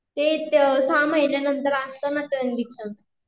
ते सहा महीन्यांनतर असतो ना ते इंजेक्शन